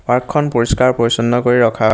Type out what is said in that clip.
park খন পৰিস্কাৰ পৰিছন্ন কৰি ৰখা --